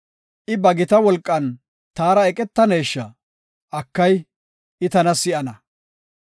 I ba gita wolqan taara eqetanesha? Akay, I tana si7ana.